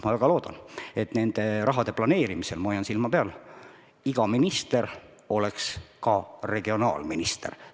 Ma väga loodan , et iga minister oleks ka regionaalminister.